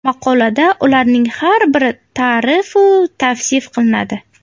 Maqolada ularning har biri ta’rif-u tavsif qilinadi.